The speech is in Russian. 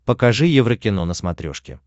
покажи еврокино на смотрешке